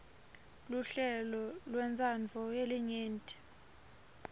luhlelo lwentsandvo yelinyenti